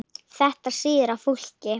Þetta sýður á fólki